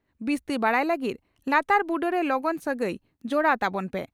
ᱵᱤᱥᱛᱤ ᱵᱟᱰᱟᱭ ᱞᱟᱹᱜᱤᱫ ᱞᱟᱛᱟᱨ ᱵᱩᱴᱟᱹᱨᱮ ᱞᱚᱜᱚᱱ ᱥᱟᱹᱜᱟᱹᱭ ᱡᱚᱲᱟᱣ ᱛᱟᱵᱚᱱ ᱯᱮ ᱾